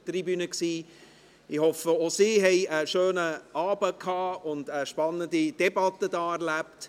Ich hoffe, auch Sie haben einen schönen Abend und hier eine spannende Debatte erlebt.